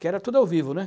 Que era tudo ao vivo, né?